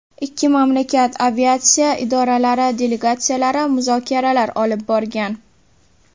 Ikki mamlakat aviatsiya idoralari delegatsiyalari muzokaralar olib borgan.